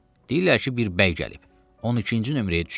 Deyirlər ki, bir bəy gəlib, 12-ci nömrəyə düşüb.